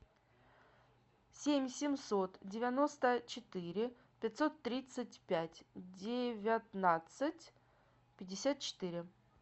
семь семьсот девяносто четыре пятьсот тридцать пять девятнадцать пятьдесят четыре